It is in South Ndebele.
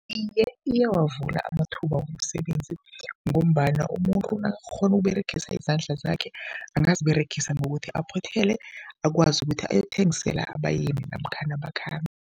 Iye, iyawavula amathuba womsebenzi ngombana umuntu nakakghona ukUberegisa izandla zakhe, angaziberegisa ngokuthi aphothele, akwazi ukuthi ayokuthengisela abayeni namkhana abakhambi.